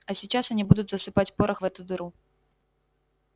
а сейчас они будут засыпать порох в эту дыру